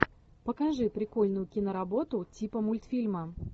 покажи прикольную киноработу типа мультфильма